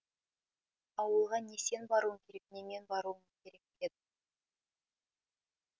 ауылға не сен баруың керек не мен баруым керек деді